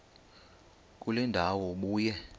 kule ndawo ubuye